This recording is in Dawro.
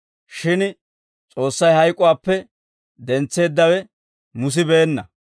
Shin S'oossay hayk'uwaappe dentseeddawe musibeenna.